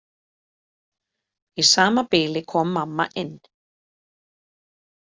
Í sama bili kom mamma inn.